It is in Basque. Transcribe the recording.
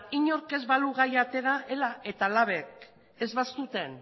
inork ez balu gaia atera ela eta labek ez bazuten